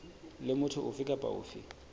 le motho ofe kapa ofe